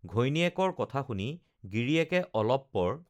ঘৈণীয়েকৰ কথা শুনি গিৰিয়েকে অলপ পৰ